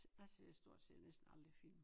Jeg ser stort set næsten aldrig film